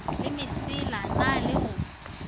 le mesela na le go